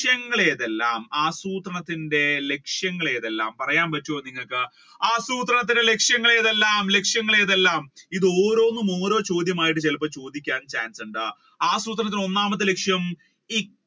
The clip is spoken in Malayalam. ഏതെല്ലാം ആസൂത്രണത്തിന്റെ ലക്ഷ്യങ്ങൾ ഏതെല്ലാം പറയാൻ പറ്റുവോ നിങ്ങൾക്ക് ആസൂത്രണത്തിന്റെ ലക്ഷ്യങ്ങൾ ഏതെല്ലാം ലക്ഷ്യങ്ങൾ ഏതെല്ലാം ഇത് ഓരോന്നും ഓരോ ചോദ്യങ്ങളായി ചിലപ്പോ ചോദിക്കാൻ chance ഉണ്ട് ആസൂത്രണത്തിന്റെ ഒന്നാമത്തെ ലക്‌ഷ്യം